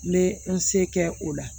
N bɛ n se kɛ o la